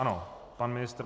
Ano, pan ministr.